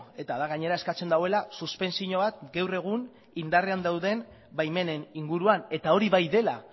eta da gainera eskatzen duela suspentzio bat gaur egun indarrean dauden baimenen inguruan eta hori bai dela